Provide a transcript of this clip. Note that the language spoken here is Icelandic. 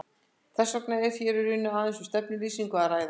Þess vegna er hér í raun aðeins um stefnuyfirlýsingu að ræða.